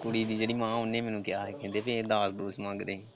ਕੁੜੀ ਦੀ ਜਿਹੜੀ ਮਾਂ ਐ ਮੈਨੂੰ ਉਹਨੇ ਕਿਹਾ ਕਿ ਇਹ ਦਾਜ ਦੂਜੇ ਮੰਗਦੇ ਆ।